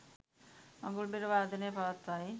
මඟුල් බෙර වාදනය පවත්වයි